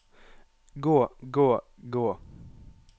gå gå gå